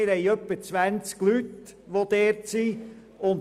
Wir haben etwa zwanzig Leute, die dort sind.